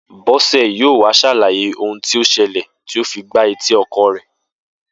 Bó̩sè̩ yóò wá s̩àlàyé ohun tí ó s̩e̩lè̩ tí ó fi gba etí o̩ko̩ rè̩